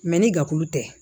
ni dakulu tɛ